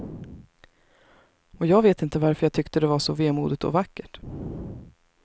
Och jag vet inte varför jag tyckte det var så vemodigt och vackert.